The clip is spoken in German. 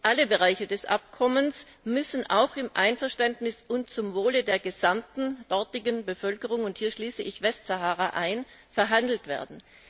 Alle Bereiche des Abkommens müssen auch im Einverständnis und zum Wohl der gesamten dortigen Bevölkerung und hier schließe ich die Westsahara ein verhandelt werden.